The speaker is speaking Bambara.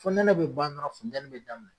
Fonɛnɛ be ban dɔrɔn funtɛni bi daminɛ